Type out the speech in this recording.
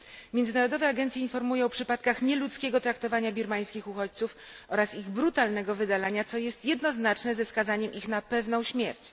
Międzynarodowe agencje informują o przypadkach nieludzkiego traktowania birmańskich uchodźców oraz ich brutalnego wydalania, co jest jednoznaczne ze skazaniem ich na pewną śmierć.